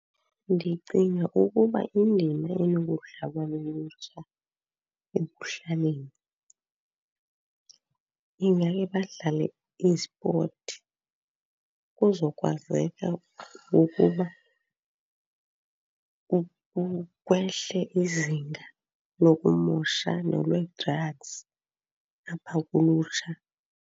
Ndicinga ukuba indima enokudlalwa lulutsha ekuhlaleni ingake badlale i-sport kuzokwazeka ukuba kwehle izinga lokumosha nolwe-drugs apha kulutsha.